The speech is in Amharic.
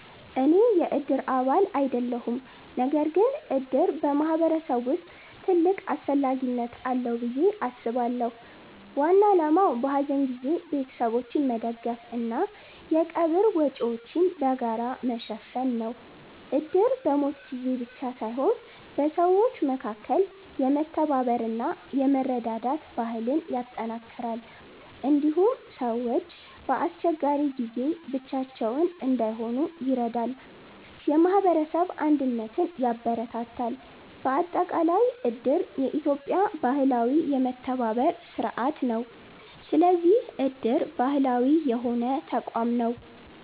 እኔ የእድር አባል አይደለሁም። ነገር ግን እድር በማህበረሰብ ውስጥ ትልቅ አስፈላጊነት አለው ብዬ አስባለሁ። ዋና ዓላማው በሐዘን ጊዜ ቤተሰቦችን መደገፍ እና የቀብር ወጪዎችን በጋራ መሸፈን ነው። እድር በሞት ጊዜ ብቻ ሳይሆን በሰዎች መካከል የመተባበር እና የመረዳዳት ባህልን ያጠናክራል። እንዲሁም ሰዎች በአስቸጋሪ ጊዜ ብቻቸውን እንዳይሆኑ ይረዳል፣ የማህበረሰብ አንድነትን ያበረታታል። በአጠቃላይ እድር የኢትዮጵያ ባህላዊ የመተባበር ስርዓት ነው። ስለዚህ እድር ባህላዊ የሆነ ተቋም ነው።